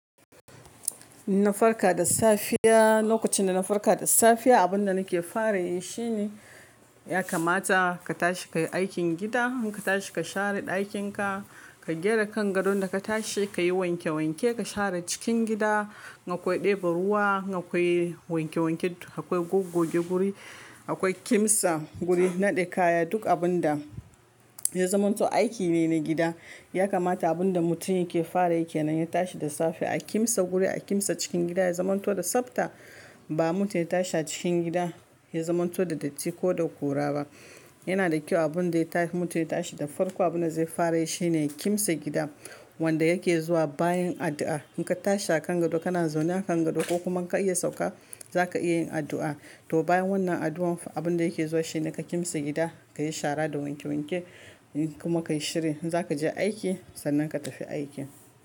Na farka da safiya, lokacin da na farka da safiya abun da nake fara yi shine ya kamata ka tashi ka yi aikin gida, ka tashi ka share ɗakinka, ka gyara kan gadon da ka tashi, ka yi wanke wanke, ka share cikin gida, akwai ɗeba ruwa, akwai wanke wanke, akwai gogge guri, akwai kimsa guri, naɗe kaya, duk abin da ya zamanto aiki ne na gida. Ya kamata abin da mutum yake fara yake nan ya tashi da safe, a kimsa guri, a kimsa cikin gida, ya zamanto da tsabta. Ba mutum ya tashi a cikin gida ya zamanto da datti ko da ƙura ba. Yana da kyau abun da ya ta-- mutum ya tashi da farko abin da zai fara yi shine kimsa gida wanda yake zuwa bayan addu'a. In ka tashi a kan gado kana zaune a kan gado ko kuma ka iya sauka za ka iya yin addu'a. To bayan wannan addu'an abin da yake zuwa shi ne ka kimsa gida, ka yi shara da wanke wanke kuma ka yi shirya. Za ka je aiki sannan ka tafi aikin.